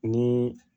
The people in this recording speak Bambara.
Ni